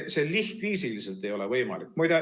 See lihtviisiliselt ei ole võimalik.